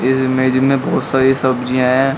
इस इमेज में बहोत सारी सब्जियां हैं।